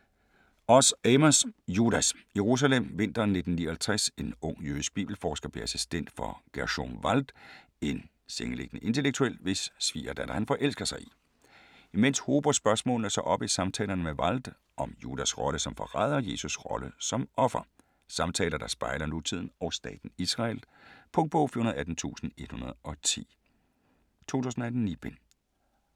Oz, Amos: Judas Jerusalem, vinteren 1959. En ung jødisk bibelforsker bliver assistent hos Gerschom Wald, en sengeliggende intellektuel, i hvis svigerdatter han forelsker sig. Imens hober spørgsmålene sig op i samtalerne med Wald, om Judas rolle som forræder og Jesus rolle som offer. Samtaler der spejler nutiden og staten Israel. Punktbog 418110 2018. 9 bind.